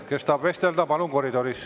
Kes tahab vestelda, palun tehke seda koridoris.